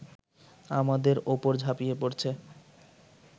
আমাদের ওপর ঝাঁপিয়ে পড়ছে